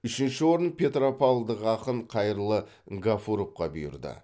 үшінші орын петропавлдық ақын қайырлы ғафуровқа бұйырды